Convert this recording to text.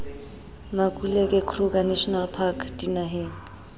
makuleke kruger national park dinaheng